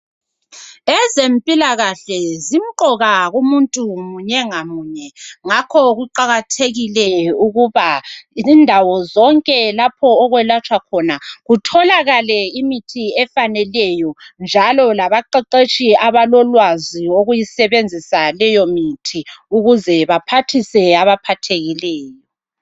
Ezempilakahle zimqoka kumuntu munye ngamunye. Ngakho kuqakethekile ukuba kundawo zonke lapho okwelatshwa khona kutholakale imithi efaneleyo, njalo labaqeqetshi abalolwazi lokuyisebenzisa leyo mithi ukuze baphathise abaphathekileyo.